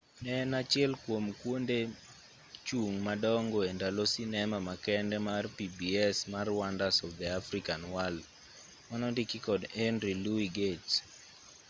ne en achiel kwom kwonde chung' madongo e ndalo sinema makende mar pbs mar wonders of the african world manondiki kod henry louis gates